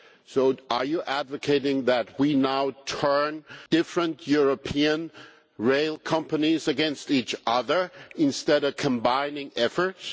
So are you advocating that we now turn different European rail companies against each other instead of combining efforts?